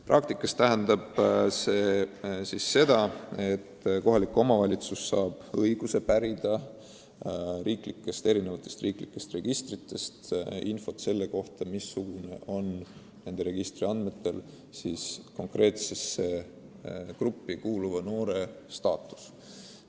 Praktikas tähendab see seda, et kohalik omavalitsus saab õiguse pärida riiklikest registritest infot, missugune on ühe või teise konkreetsesse gruppi kuuluva noore staatus.